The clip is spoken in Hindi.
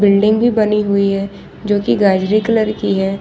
बिल्डिंगे बनी हुई है जो की गाजरी कलर की है।